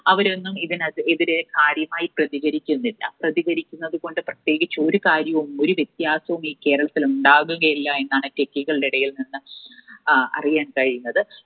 അവരൊന്നും ഇതിനെതിരെ കാര്യമായി പ്രതികരിക്കുന്നില്ല. പ്രതികരിക്കുന്നത് കൊണ്ട് പ്രത്യേകിച്ച് ഒരു കാര്യവും ഒരു വ്യത്യാസവും ഈ കേരളത്തിൽ ഉണ്ടാവുകയില്ല എന്നാണ് Techie കളുടെ ഇടയിൽനിന്ന് ആഹ് അറിയാൻ കഴിയുന്നത്.